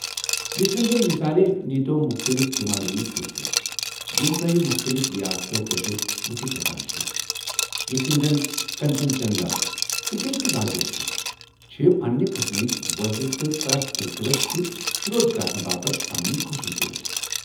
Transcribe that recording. یتھ کٔنہ زن مِثالے نییتو٘ مختلِف ہمالیٲیی سِلسِلہٕ یم تو٘ہہِ مختٔلف ریاستو پٮ۪ٹھٕ وُچھِتھ ہٮ۪کان چھِوٕ یِتھہٕ كٕنۍ زن کنچنجنگا ، تہٕ بیٚیہ تہِ واریاہ چھِ ، چھِ پنٛنہِ قٕسمٕكہِ وٲحِد تہٕ پریتھ سِلسِلس چھِ شر٘ودھ كرنہٕ باپت پنٕنہِ خصوصیات ۔